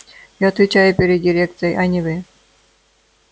я отвечаю перед дирекцией а не вы